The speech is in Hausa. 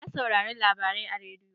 Na saurari labarai a rediyo.